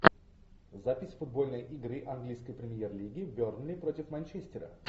запись футбольной игры английской премьер лиги бернли против манчестера